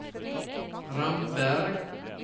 Ramberg